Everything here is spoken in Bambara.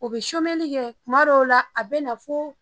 O bɛ kɛ tuma dɔw o la a bɛ na fo